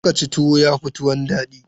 Zo ka ci tuwo, ya fi tuwon daɗi.